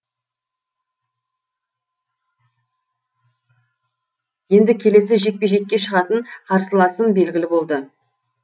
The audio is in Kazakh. енді келесі жекпе жекке шығатын қарсыласым белгілі болды